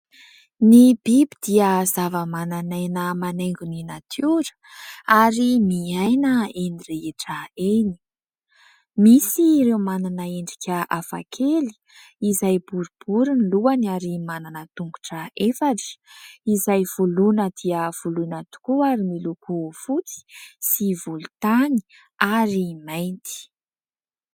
Ny biby dia zava-manana aina manaingo ny natiora ary miaina eny rehetra eny : misy ireo manana endrika hafa kely izay boribory ny lohany ary manana tongotra efatra izay voloina dia voloina tokoa, miloko fotsy sy volontany ary mainty.